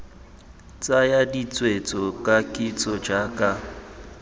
tsaya ditshwetso ka kitso jaaka